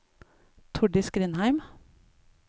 Tordis Grindheim